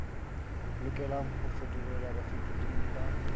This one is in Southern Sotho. lokelang ho fetolelwa bafetoleding ba